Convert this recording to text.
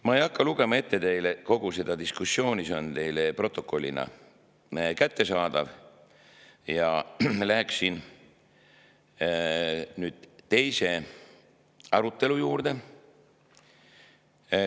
Ma ei hakka teile ette lugema kogu seda diskussiooni – selle on teile protokollina kättesaadav –, ja läheksin nüüd teise arutelu juurde.